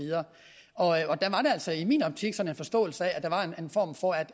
altså i min optik sådan en forståelse af